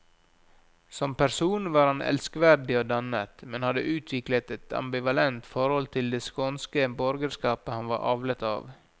Som person var han elskverdig og dannet, men hadde utviklet et ambivalent forhold til det skånske borgerskapet han var avlet av.